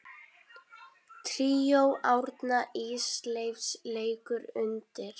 Tríó Árna Ísleifs leikur undir.